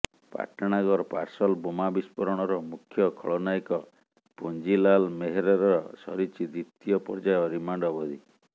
Patnagarh parcel ବୋମା ବିସ୍ଫୋରଣର ମୁଖ୍ୟ ଖଳନାୟକ ପୁଞ୍ଜିଲାଲ ମେହେରର ସରିଛି ଦ୍ୱିତୀୟ ପର୍ଯ୍ୟାୟ ରିମାଣ୍ଡ ଅବଧି